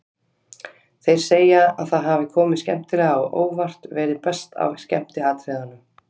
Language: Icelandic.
Þeir segja að það hafi komið skemmtilega á óvart, verið best af skemmtiatriðunum.